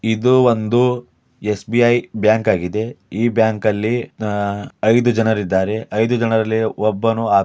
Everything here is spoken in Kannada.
ಇದು ಒಂದು ಎಸ್.ಬಿ.ಐ ಬ್ಯಾಂಕ್ ಆಗಿದೆ ಈ ಬ್ಯಾಂಕ್ ಅಲ್ಲಿ ಆಹ್ ಐದು ಜನರಿದ್ದಾರೆ ಐದು ಜನರಲ್ಲಿ ಒಬ್ಬನು --